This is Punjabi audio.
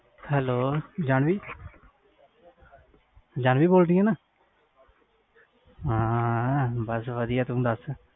hello ਜਾਨਵੀ ਜਾਨਵੀ ਬੋਲ ਰਹੀ ਆ ਹਾਂ ਬਸ ਵਧੀਆ ਤੂੰ ਦਸ